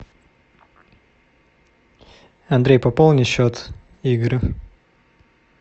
андрей пополни счет игорю